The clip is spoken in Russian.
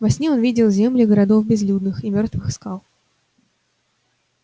во сне он видел земли городов безлюдных и мёртвых скал